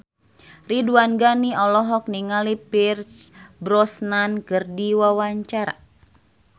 Ridwan Ghani olohok ningali Pierce Brosnan keur diwawancara